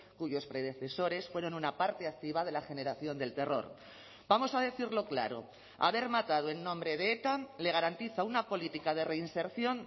cuyos predecesores fueron una parte activa de la generación del terror vamos a decirlo claro haber matado en nombre de eta le garantiza una política de reinserción